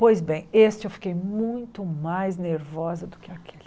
Pois bem, este eu fiquei muito mais nervosa do que aquele.